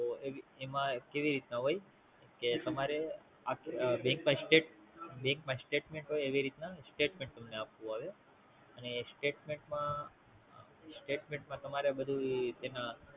તો એમાં કેવીરીતે ના હોય કે તમારે Bank માં State bank માં Statement હોય એવીરીતે ના Statement આખું આવે અને Statement માં Statement માંતમારે બધુંય જેમાં